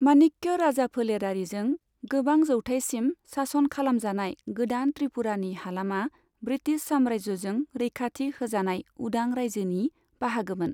माणिक्य राजाफोलेरारिजों गोबां जौथाइसिम सासन खालामजानाय गोदान त्रिपुरानि हालामा ब्रिटिश साम्रायजोजों रैखाथि होजानाय उदां रायजोनि बाहागोमोन।